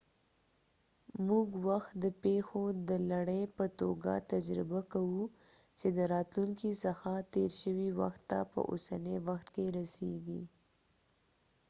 موږ وخت د پیښو د لړۍ په توګه تجربه کوو چې د راتلونکې څخه تير شوي وخت ته په اوسني وخت کې رسيږي